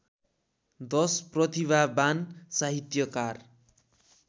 १० प्रतिभावान साहित्यकार